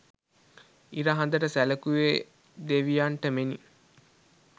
ඉර හඳ ට සැලකුවේ දෙවියන්ට මෙනි.